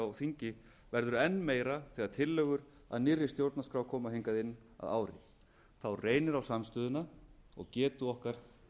á þingi verður enn meira þegar tillögur að nýrri stjórnarskrá koma hingað inn að ári þá reynir á samstöðuna og getu okkar til þess að